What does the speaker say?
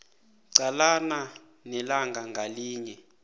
qalana nelanga ngalinye